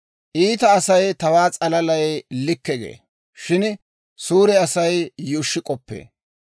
Iita Asay tawaa s'alalay likke gee; shin suure Asay yuushshi k'oppee.